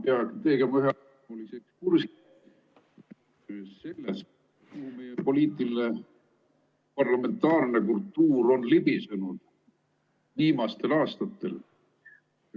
... poliitiline parlamentaarne kultuur on libisenud viimastel aastatel.